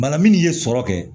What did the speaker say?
Bana minnu ye sɔrɔ kɛ